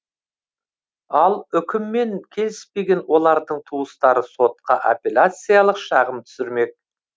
ал үкіммен келіспеген олардың туыстары сотқа апеллияциялық шағым түсірмек